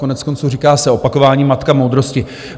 Koneckonců říká se opakování matka moudrosti.